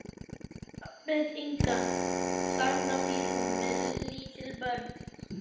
Elísabet Inga: Þarna býr hún með lítil börn?